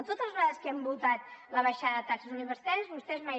totes les vegades que hem votat la baixada de taxes universitàries vostès mai